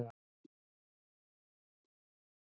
Já, þetta er sérstakt.